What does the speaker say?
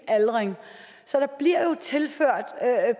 aldring så der bliver jo tilført